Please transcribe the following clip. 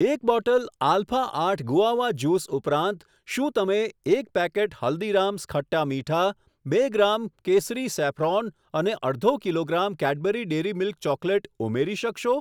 એક bottle Alpha આઠ guava juice ઉપરાંત, શું તમે એક પેકેટ હલ્દીરામ્સ ખટ્ટા મીઠા, બે ગ્રામ કેસરી સેફ્રોન અને અડધો kilogram Cadbury dairy milk chocolate ઉમેરી શકશો?